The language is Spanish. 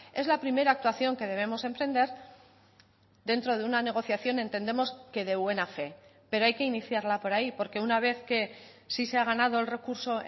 es la primera actuación que debemos emprender dentro de una negociación entendemos que de buena fe pero hay que iniciarla por ahí porque una vez que sí se ha ganado el recurso